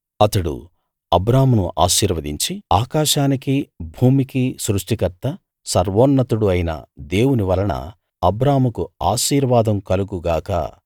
అతడు అబ్రామును ఆశీర్వదించి ఆకాశానికి భూమికి సృష్టికర్త సర్వోన్నతుడు అయిన దేవుని వలన అబ్రాముకు ఆశీర్వాదం కలుగు గాక